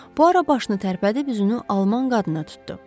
Puaro başını tərpədib üzünü alman qadına tutdu.